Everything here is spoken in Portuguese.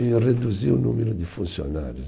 E reduziu o número de funcionários.